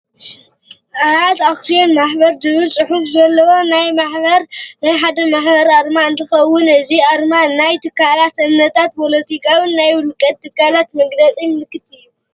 ኣያት ኣክስዮን ማሕበር ዝብል ፁሑፍ ዘለዎ ናይ ሓደ ማሕበር ኣርማ እንትከውን እዚ ኣርማ ናይ ትካላት፣ እምነታት፣ ፖሎቲካታት ናይ ውልቀ ትካላት መግለፂ ምልክት እዩ።